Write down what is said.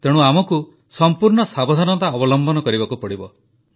ତେଣୁ ଆମକୁ ସମ୍ପୂର୍ଣ୍ଣ ସାବଧାନତା ଅବଲମ୍ବନ କରିବାକୁ ପଡ଼ିବ